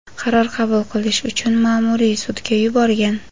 qaror qabul qilish uchun ma’muriy sudga yuborgan.